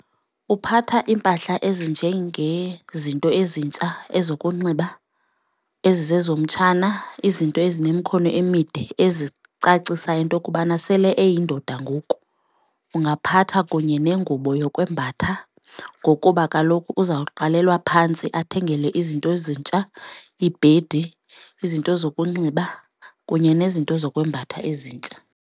Uphatha iimpahla ezinjengezinto ezintsha ezokunxiba ezizezomtshana, izinto ezinemkhono emide ezicacisa into kubana sele eyindoda ngoku. Ungaphatha kunye nengubo yokwembatha ngokuba kaloku uzawuqalelwa phantsi athengelwe izinto ezintsha, iibhedi, izinto zokunxiba kunye nezinto ngokwembatha ezintsha.